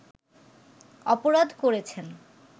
অপরাধ করেছেন